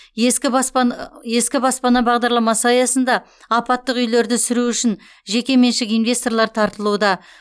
ескі баспан ескі баспана бағдарламасы аясында апаттық үйлерді сүру үшін жекеменшік инвесторлар тартылуда